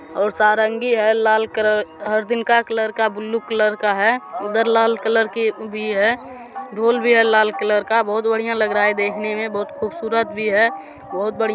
और सारंगी है लाल कलर हरदिल का कलर का ब्लू कलर का है | उधर लाल कलर की भी है | ढोल भी है लाल कलर का बोहोत बढ़िए लग रहा है देखने में बहुत खूबसूरत भी है बोहोत बढ़िया--